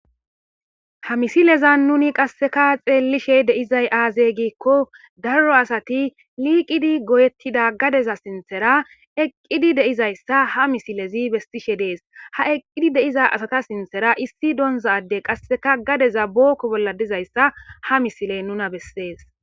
Ha misileza nuni qasseka xeellishe deizay aazey giikko daro asati liiqidi goyettida gadeza sinthera eqqidi deizayssa ha misilezi bestishe dees ha eqqidi deiza asata sinthera issi doonzadey qasseka gadeza bookko bolla dizayssa ha misile nuna bessees.